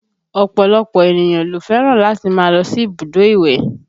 Ọ̀pọ̀lọpọ̀ ènìyàn ló fẹ́ràn láti máa lọ sí ibùdó ìwẹ̀